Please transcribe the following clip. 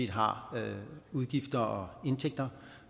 har udgifter og indtægter